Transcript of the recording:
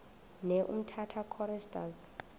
ne umtata choristers